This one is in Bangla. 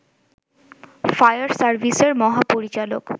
ফায়ার সাভিসের মহাপরিচালক